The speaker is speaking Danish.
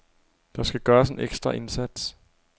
Der skal gøres en ekstra indsats.